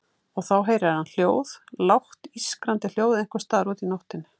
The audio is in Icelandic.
Og þá heyrir hann hljóð, lágt ískrandi hljóð einhvers staðar úti í nóttinni.